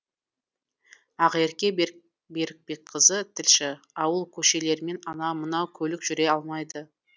ақерке берікбекқызы тілші ауыл көшелерімен анау мынау көлік жүре алмайды